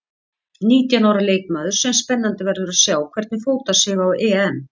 Nítján ára leikmaður sem spennandi verður að sjá hvernig fótar sig á EM.